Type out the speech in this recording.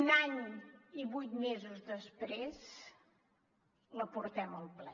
un any i vuit mesos després la portem al ple